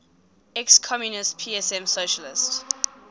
ex communist psm socialist